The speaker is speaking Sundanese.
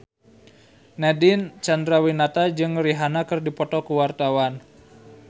Nadine Chandrawinata jeung Rihanna keur dipoto ku wartawan